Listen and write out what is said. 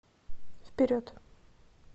вперед